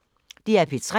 DR P3